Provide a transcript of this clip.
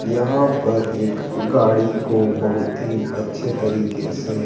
यहां पर एक गाड़ी को बहुत ही अच्छे तरीके से--